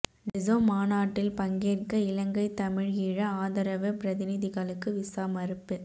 டெசோ மாநாட்டில் பங்கேற்க இலங்கை தமிழ் ஈழ ஆதரவு பிரதிநிதிகளுக்கு விசா மறுப்பு